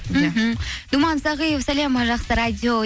мхм думан сағиев сәлем жақсы радио